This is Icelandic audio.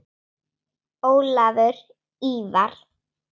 Ólafur Ívar.